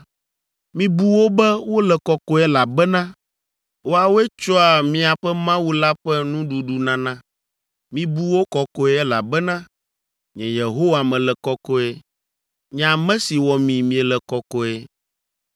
Mibu wo be wole kɔkɔe, elabena woawoe tsɔa miaƒe Mawu la ƒe Nuɖuɖunana. Mibu wo kɔkɔe, elabena nye Yehowa mele kɔkɔe, nye ame si wɔ mi miele kɔkɔe.